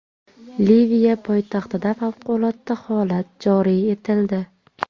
Liviya poytaxtida favqulodda holat joriy etildi.